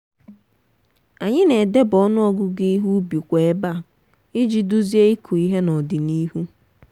anyị na-edeba ọnụ ọgụgụ ihe ubi kwa ébà iji duzie ịkụ ihe n'ọdịnihu.